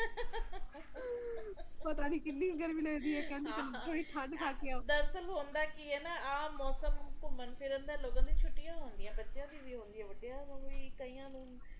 ਆਪਣੇ ਖੁਦ ਦੇ ਦੇਸ਼ ਚ ਏਨੇ ਤਰਾਂ ਦੇ ਮੌਸਮ ਹੈ ਆਪਾ ਗਿਣਤੀ ਨਹੀਂ ਕਰ ਸਕਦੇ ਤੁਸੀਂ ਹੁਣ ਆਪਾ ਇਥੇ ਬੈਠੇ ਆ ਤੁਸੀਂ ਰੋਹਤਾਂਨ ਚਲੇ ਜਾਓ ਮਨਾਲੀ ਚਲੇ ਜਾਓ ਬਰਫ ਨਾਲ ਰਸਤੇ ਢਕੇ ਹੋਏ ਆ